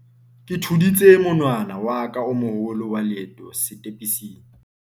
ke thudisitse monwana wa ka o moholo wa leeto setepising